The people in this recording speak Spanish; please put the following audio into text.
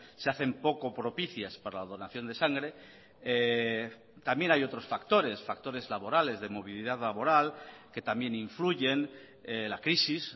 se hacen poco propicias para la donación de sangre también hay otros factores factores laborales de movilidad laboral que también influyen la crisis